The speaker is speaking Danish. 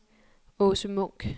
Aase Munk